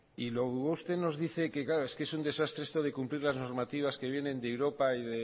y luego usted nos dice que claro es que es un desastre esto de cumplir las normativas que vienen de europa